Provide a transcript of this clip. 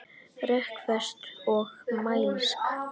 Rökföst og mælsk.